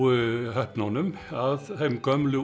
höfnunum af þeim gömlu